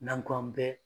N'an k'an bɛ